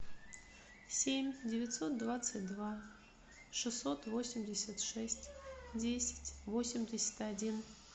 семь девятьсот двадцать два шестьсот восемьдесят шесть десять восемьдесят один